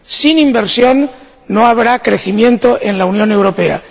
sin inversión no habrá crecimiento en la Unión Europea.